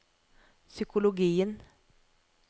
psykologien